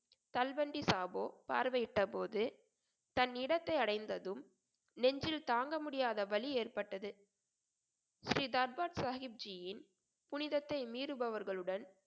தல்வண்டி சாபோ பார்வையிட்ட போது தன் இடத்தை அடைந்ததும் நெஞ்சில் தாங்க முடியாத வலி ஏற்பட்டது ஸ்ரீ தர்பார் சாஹிப்ஜியின் புனிதத்தை மீறுபவர்களுடன்